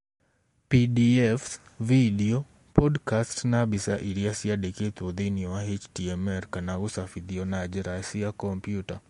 PDFs, vidio, podcast, na mbica iria ciĩandĩkĩtwo thĩinĩ wa HTML kana gũcabithio na na njĩra cia kompiuta.